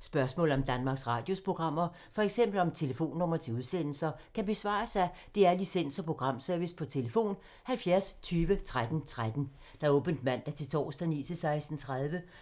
Spørgsmål om Danmarks Radios programmer, f.eks. om telefonnumre til udsendelser, kan besvares af DR Licens- og Programservice: tlf. 70 20 13 13, åbent mandag-torsdag 9.00-16.30,